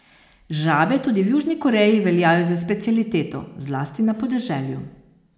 Žabe tudi v Južni Koreji veljajo za specialiteto, zlasti na podeželju.